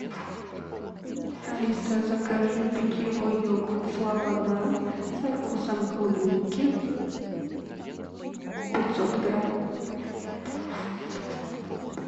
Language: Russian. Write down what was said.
алиса закажи питьевой йогурт слобода со вкусом клубники пятьсот грамм